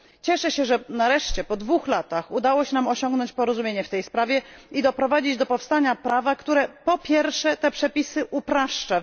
Cieszę się, że nareszcie po dwóch latach udało się nam osiągnąć porozumienie w tej sprawie i doprowadzić do powstania prawa, które, po pierwsze, te przepisy upraszcza.